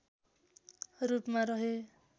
रूपमा रहे